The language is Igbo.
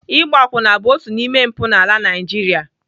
Ịgba akwụna bụ otu n'ime mpụ n'ala Naijiria.